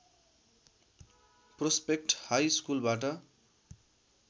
prospect high स्कुलबाट